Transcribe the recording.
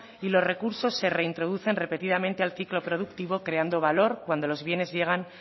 y los recursos se reintroducen repetidamente al ciclo productivo creando valor cuando los bienes llegan